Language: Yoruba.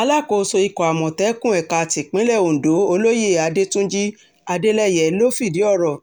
alákòóso ikọ̀ amọ̀tẹ́kùn ẹ̀ka tipinlẹ̀ ọ̀dọ́ olóyè adẹ́túnjì adeleye ló fìdí ọ̀rọ̀